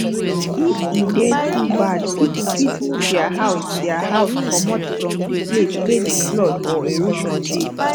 if e dey too bad pipo fit move their house their house comot from di place wey di flood or erosion dey